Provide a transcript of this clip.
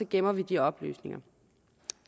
gemmer vi de oplysninger